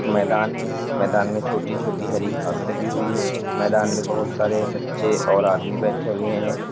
मैदान है मैदान में छोटी छोटी हरी घास लगी हुई है मैदान में बहुत सारे बच्चे और आदमी बैठे हुए हैं।